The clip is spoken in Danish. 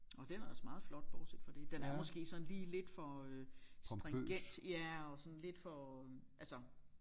Nåh den er ellers meget flot bortset fra det den er måske sådan lige lidt for øh stringent ja og sådan lidt for altså